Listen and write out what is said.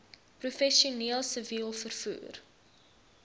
professioneel siviel vervoer